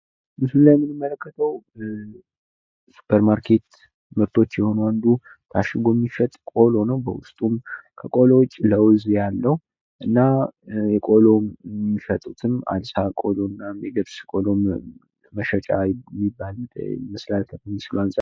ምስሉ ላይ የምንመለከተው የሱፐር ማርኬት ምርቶች የሆነው አንዱ ታሽጎ የሚሸጥ ቆሎ ነው። በውስጡም ከቆሎ ውጭ ለውዝ ያለው እና ቆሎ የሚሸጡትም አልሳ የገብስ ቆሎ መሸጫ የሚባል ይመስላል።